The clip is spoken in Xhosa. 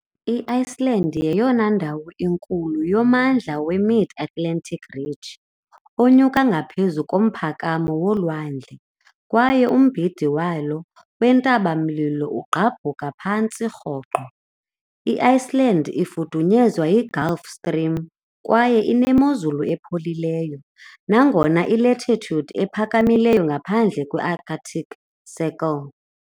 I-Iceland yeyona ndawo inkulu yoMmandla we-Mid-Atlantic Ridge onyuka ngaphezu komphakamo wolwandle, kwaye umbindi walo wentaba-mlilo ugqabhuka phantse rhoqo . I-Iceland ifudunyezwa yiGulf Stream kwaye inemozulu epholileyo, nangona i-latitude ephakamileyo ngaphandle kwe- Arctic Circle .